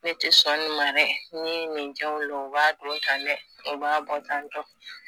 Ne tɛ sɔn nin ma dɛ ni ye nin ja u la, u b'a don ta dɛ, u b'a bɔ tan